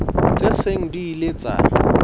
tse seng di ile tsa